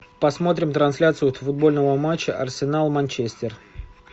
посмотрим трансляцию футбольного матча арсенал манчестер